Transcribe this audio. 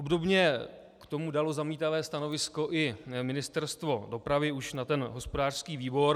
Obdobně k tomu dalo zamítavé stanovisko i Ministerstvo dopravy, už na ten hospodářský výbor.